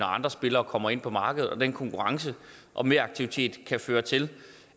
andre spillere kommer ind på markedet og den konkurrence og meraktivitet kan føre til